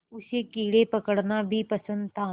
उसे कीड़े पकड़ना भी पसंद था